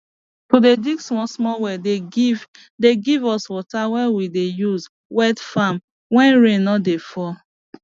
to dey dig small small well dey give dey give us water wey we dey use wet farm when rain no dey fall